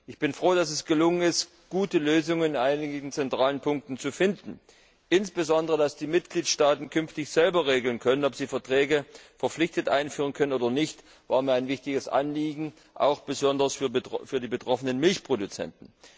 Ich bin froh, dass es gelungen ist, gute Lösungen in einigen zentralen Punkten zu finden. Insbesondere dass die Mitgliedstaaten künftig selber regeln können, ob sie Verträge verpflichtend einführen oder nicht, war mir ein wichtiges Anliegen, auch besonders für die betroffenen Milchproduzenten.